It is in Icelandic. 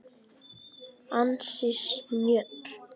Ansi snjöll!